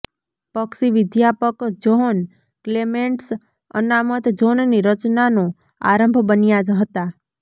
પક્ષીવિદ્યાપક John Clements અનામત ઝોનની રચનાનો આરંભ બન્યા હતા